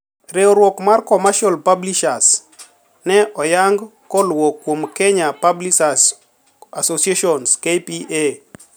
Riuruok mar commercial publishers nen oyang koluo kuom Kenya Publishers Association (KPA)